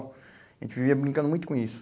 A gente vivia brincando muito com isso.